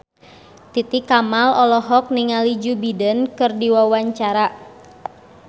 Titi Kamal olohok ningali Joe Biden keur diwawancara